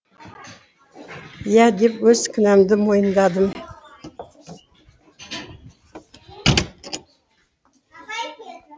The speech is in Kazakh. иә деп өз кінәмді мойындадым